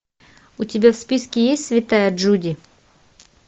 у тебя в списке есть святая джуди